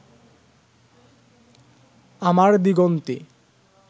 আমার দিগন্তে